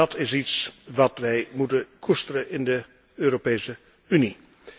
Dat is iets wat wij moeten koesteren in de Europese Unie.